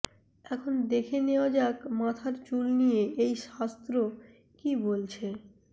এখন দেখে নেওয়া যাক মাথার চুল নিয়ে এই শাস্ত্র কী বলছে